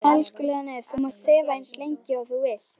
Elskulega nef þú mátt þefa eins lengi og þú vilt.